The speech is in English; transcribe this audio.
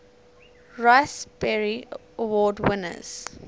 raspberry award winners